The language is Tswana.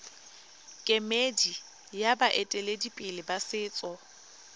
kemedi ya baeteledipele ba setso